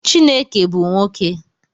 Chineke bu nwoke.